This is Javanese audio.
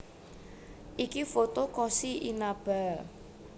Ini foto Koshi Inaba